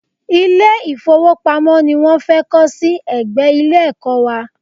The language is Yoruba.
Ilé-ìfówopamọ́ ni wọ́n fẹ́ kọ́ sí ẹ̀gbẹ́ Ilé-ẹ̀kọ́ wa